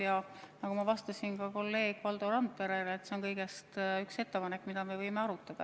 Ja nagu ma vastasin ka kolleeg Valdo Randperele: see on lihtsalt üks ettepanek, mida me võime arutada.